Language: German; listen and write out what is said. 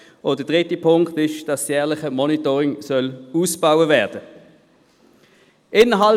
Der dritte Punkt ist, dass das jährliche Monitoring ausgebaut werden soll.